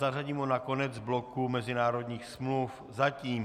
Zařadíme ho na konec bloku mezinárodních smluv, zatím.